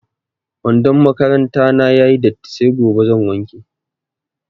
Wandon makaranta na ya yi datti sai gobe zan wanke.